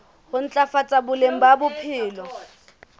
ho ntlafatsa boleng ba bophelo